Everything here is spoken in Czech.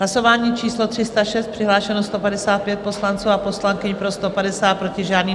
Hlasování číslo 306, přihlášeno 155 poslanců a poslankyň, pro 150, proti žádný.